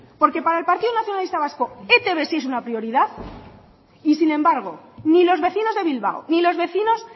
porque para el partido nacionalista vasco etb sí es una prioridad y sin embargo ni los vecinos de bilbao ni los vecinos